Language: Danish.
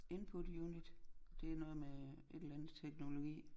Input unit det noget med et eller andet teknologi